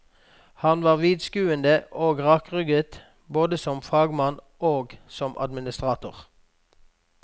Han var vidtskuende og rakrygget, både som fagmann og som administrator.